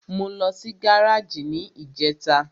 Mo lọ sí gáràjì ní ìjẹta.